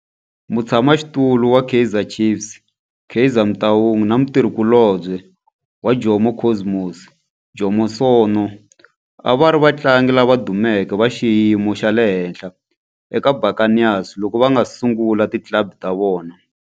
Mutshama xitulu wa Kaizer Chiefs Kaizer Motaung na mutirhi kulobye wa Jomo Cosmos Jomo Sono a va ri vatlangi lava dumeke va xiyimo xa le henhla eka Buccaneers loko va nga si sungula ti club ta vona.